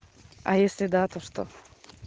а если да то что